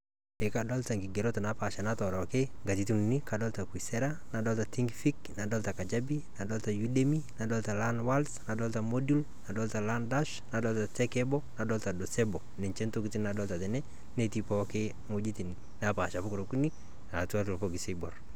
Ekadolta nkigerot napaasha natooroki nkatitin uni. Kadolta kosera, nadolta  tinkfik, nadolta kajabi, nadolta  yudemi, nadolta lanwolds, nadolta modul, kadolta landash, nadolta tekebo, nadolta dosebo, ninche ntokitin nadolta tene netii pooki wuejitin napaasha pokira okuni naatatua ilbokis oiborr.